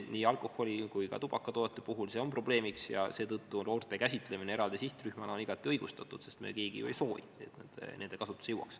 Nii alkoholi kui ka tubakatoodete puhul see on probleemiks ja seetõttu noorte käsitlemine eraldi sihtrühmana on igati õigustatud, sest me keegi ju ei soovi, et see nende kasutusse jõuaks.